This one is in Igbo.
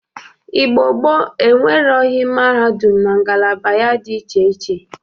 Igbo gboo enwereghi mahadum na ngalaba ya dị iche iche.